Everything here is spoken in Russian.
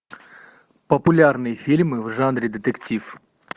популярные фильмы в жанре детектив